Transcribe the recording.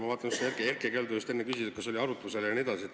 Ma vaatan, Erkki Keldo just enne küsis, kas oli arutlusel jne.